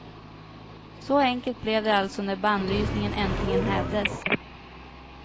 Så enkelt blev det alltså, när bannlysningen äntligen hävdes.